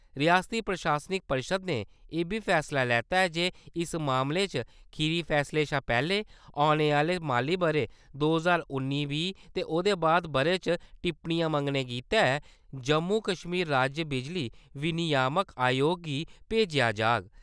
रियासती प्रशासनिक परिशद ने इब्बी फैसला लैता ऐ जे इस मामले च खीरी फैसले शा पैह्‌ले औने आह्‌ले माली ब`रे दो ज्हार उन्नी बीह् ते ओह्दे बाद बारे च टिप्पणियां मंगने गितै जम्मू-कश्मीर राज्य बिजली विनियामक अयोग गी भेजेआ जाग।